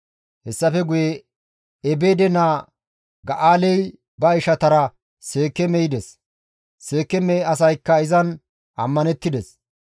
Hessafe guye Ebeede naa Ga7aaley ba ishatara Seekeeme yides; Seekeeme asaykka izan ammanettides.